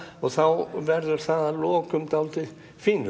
og þá verður það að lokum dálítið